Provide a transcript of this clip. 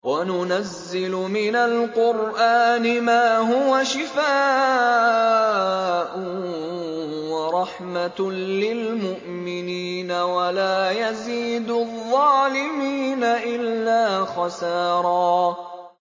وَنُنَزِّلُ مِنَ الْقُرْآنِ مَا هُوَ شِفَاءٌ وَرَحْمَةٌ لِّلْمُؤْمِنِينَ ۙ وَلَا يَزِيدُ الظَّالِمِينَ إِلَّا خَسَارًا